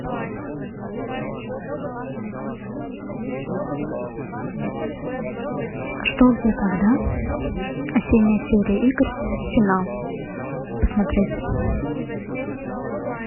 что где когда осенняя серия игр финал посмотреть